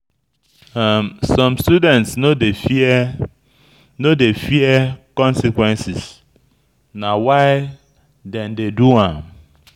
Some students no dey fear no dey fear consequences; na why dem dey do am.